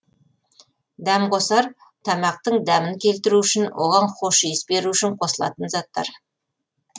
дәмқосар тамақтың дәмін келтіру үшін оған хош иіс беру үшін қосылатын заттар